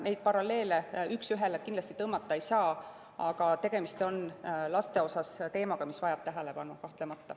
Neid paralleele üks ühele kindlasti tõmmata ei saa, aga tegemist on laste teemaga, mis vajab kahtlemata tähelepanu.